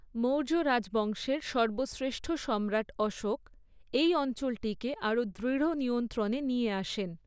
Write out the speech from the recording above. মৌর্য রাজবংশের সর্বশ্রেষ্ঠ সম্রাট অশোক, এই অঞ্চলটিকে আরও দৃঢ় নিয়ন্ত্রণে নিয়ে আসেন।